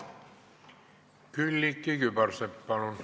Külliki Kübarsepp, palun!